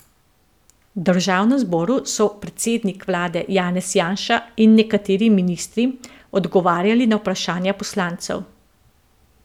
V državnem zboru so predsednik vlade Janez Janša in nekateri ministri odgovarjali na vprašanja poslancev.